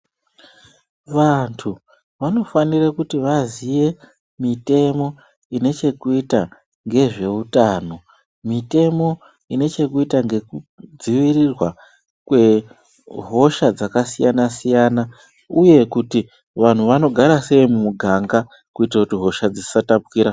Vantu vanofanire kuti vaziye mitemo inechekuita ngezveutano mitemo inechekuita ngekudziirirwa kwehosha dzakasiyana siyana uye kuti vantu vanogara sei mumuuganga kuitire kuti hosha dzisatapukira.